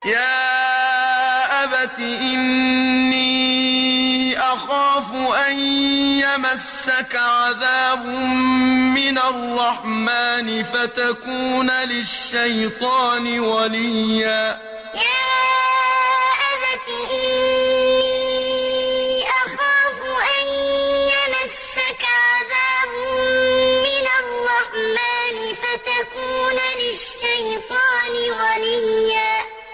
يَا أَبَتِ إِنِّي أَخَافُ أَن يَمَسَّكَ عَذَابٌ مِّنَ الرَّحْمَٰنِ فَتَكُونَ لِلشَّيْطَانِ وَلِيًّا يَا أَبَتِ إِنِّي أَخَافُ أَن يَمَسَّكَ عَذَابٌ مِّنَ الرَّحْمَٰنِ فَتَكُونَ لِلشَّيْطَانِ وَلِيًّا